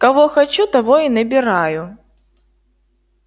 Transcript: кого хочу того и набираю